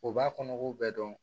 U b'a kɔnɔ k'u bɛɛ dɔn